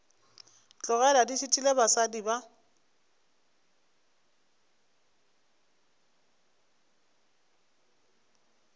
tlogele di šitile basadi ba